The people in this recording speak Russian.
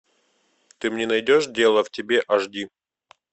ты мне найдешь дело в тебе аш ди